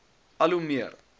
al hoe meer